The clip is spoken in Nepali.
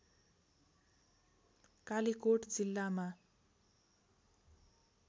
कालिकोट जिल्लामा